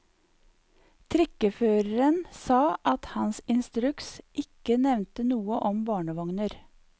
Trikkeføreren sa at hans instruks ikke nevnte noe om barnevogner.